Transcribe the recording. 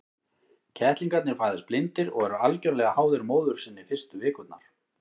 Kettlingarnir fæðast blindir og eru algjörlega háðir móður sinni fyrstu vikurnar.